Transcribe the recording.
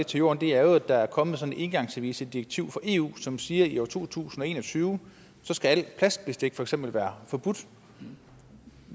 til jorden er jo at der er kommet sådan et engangsservicedirektiv fra eu som siger at i år to tusind og en og tyve skal alt plastbestik for eksempel være forbudt